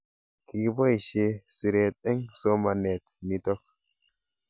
Kikipoishe siret eng' somanet nitok